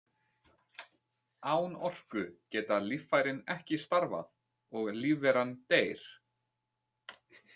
Án orku geta líffærin ekki starfað og lífveran deyr.